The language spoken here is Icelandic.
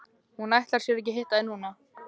Hún ætlar sér ekki að hitta þig núna.